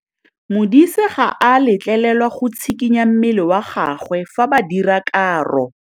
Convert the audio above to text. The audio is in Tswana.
Modise ga a letlelelwa go tshikinya mmele wa gagwe fa ba dira karô.